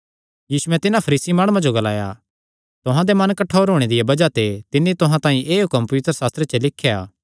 यीशुयैं तिन्हां फरीसी माणुआं जो ग्लाया तुहां दे मन कठोर होणे दिया बज़ाह ते तिन्नी तुहां तांई एह़ हुक्म पवित्रशास्त्रे च लिख्या